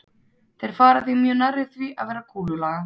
Þeir fara því mjög nærri því að vera kúlulaga.